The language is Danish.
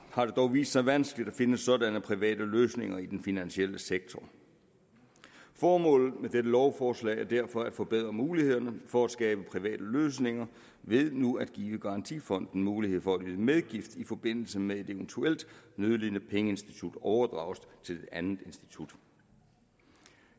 har det dog vist sig vanskeligt at finde sådanne private løsninger i den finansielle sektor formålet med dette lovforslag er derfor at forbedre mulighederne for at skabe private løsninger ved nu at give garantifonden mulighed for at yde medgift i forbindelse med at et eventuelt nødlidende pengeinstitut overdrages til et andet institut